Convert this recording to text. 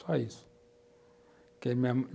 Só isso. Que a minha mãe